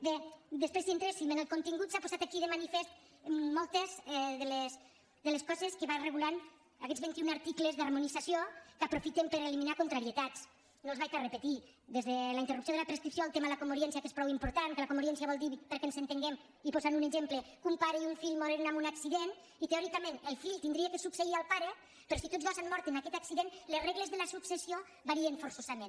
bé després si entréssim en el contingut s’han posat aquí de manifest moltes de les coses que van regulant aquests vint i un articles d’harmonització que aprofitem per eliminar contrarietats no els repetiré des de la interrupció de la prescripció al tema de la commoriència que és prou important que la commoriència vol dir perquè ens entenguem i posant ne un exemple que un pare i un fill moren en un accident i teòricament el fill hauria de succeir el pare però si tots dos han mort en aquest accident les regles de la successió varien forçosament